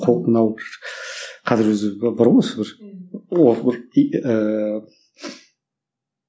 мынау қазір өзі бар ғой осы бір